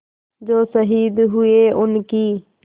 जो शहीद हुए हैं उनकी